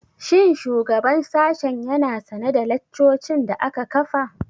Shin shugaban sashen ya na sane da laccocin da aka kafa?